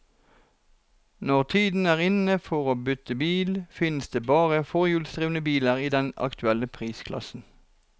Når tiden er inne for å bytte bil, finnes det bare forhjulsdrevne biler i den aktuelle prisklassen.